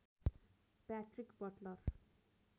Patrick Buttler